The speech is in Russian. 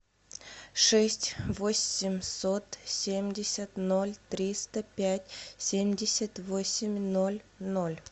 шесть восемьсот семьдесят ноль триста пять семьдесят восемь ноль ноль